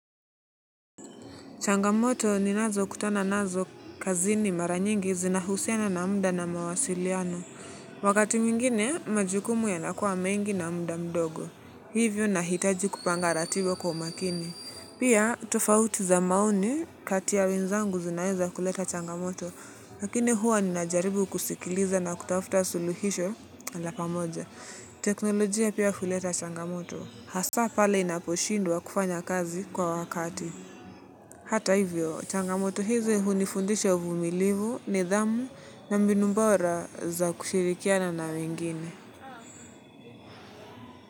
Changamoto ninazokutana nazo kazini mara nyingi zinahusiana na muda na mawasiliano. Wakati mwingine, majukumu yanakuwa mengi na muda mdogo. Hivyo nahitaji kupanga ratiba kwa umakini. Pia, tofauti za maoni kati ya wenzangu zinaweza kuleta changamoto. Lakini huwa ninajaribu kusikiliza na kutafuta suluhisho ala pamoja. Teknolojia pia kuleta changamoto. Hasa pale inaposhindwa kufanya kazi kwa wakati. Hata hivyo, changamoto hizi hunifundisha uvumilivu nidhamu na mbinu bora za kushirikiana na wengine.